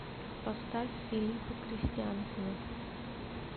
поставь филиппа кристиансена